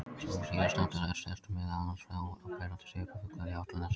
Sú síðastnefnda setur meðal annars áberandi svip á fuglalífið á Álftanesi og Seltjarnarnesi.